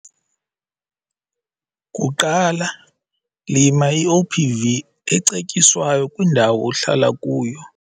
Kuqala, lima i-OPV ecetyiswa kwindawo ohlala kuyo.